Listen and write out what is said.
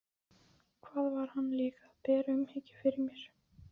Hvað var hann líka að bera umhyggju fyrir mér?